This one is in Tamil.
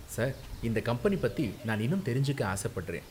சார் இந்த கம்பெனி பத்தி நான் இன்னும் தெரிஞ்சுக்க ஆசப்படுறேன்.